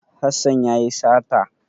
Hassan ya yi sata.